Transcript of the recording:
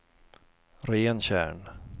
Rentjärn